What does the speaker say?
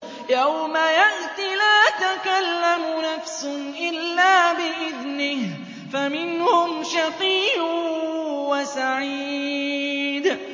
يَوْمَ يَأْتِ لَا تَكَلَّمُ نَفْسٌ إِلَّا بِإِذْنِهِ ۚ فَمِنْهُمْ شَقِيٌّ وَسَعِيدٌ